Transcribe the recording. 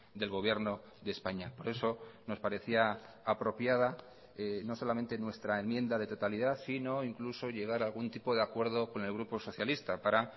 del gobierno de españa por eso nos parecía apropiada no solamente nuestra enmienda de totalidad sino incluso llegar a algún tipo de acuerdo con el grupo socialista para